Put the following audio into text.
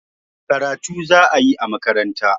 Karatu za a yi a makaranta